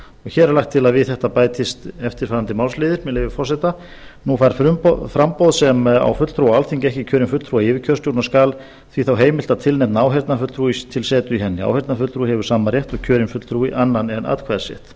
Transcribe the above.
hér er lagt til að við þetta bætist eftirfarandi málsliðir með leyfi forseta nú fær framboð sem á fulltrúa á alþingi ekki kjörinn fulltrúa í yfirkjörstjórn og skal því þá heimilt að tilnefna áheyrnarfulltrúa til setu í henni áheyrnarfulltrúi hefur sama rétt og kjörinn fulltrúi annan en atkvæðisrétt